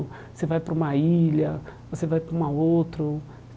Você vai para uma ilha, você vai para uma outro.